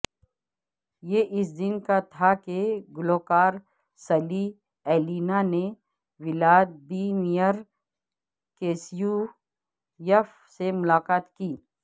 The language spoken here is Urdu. یہ اس دن تھا کہ گلوکار سلی ایلینا نے ولادیمیر کیسیویف سے ملاقات کی